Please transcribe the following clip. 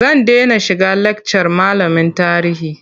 Zan dena shiga lakcar malamin tarihi.